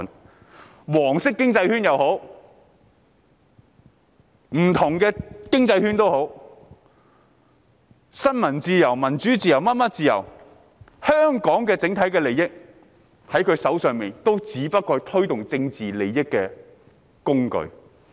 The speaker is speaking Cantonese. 不論是"黃色經濟圈"或不同的經濟圈、新聞自由、民主、其他各種自由或香港的整體利益，也不過是他們用來獲取政治利益的工具。